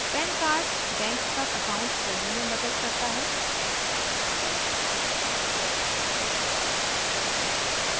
pan card bank का account खोलने में मदद करता है